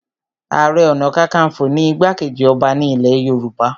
Ààrẹ ọ̀nàkakafo ni igbá-kejì ọba ní ilẹ̀ Yorùbá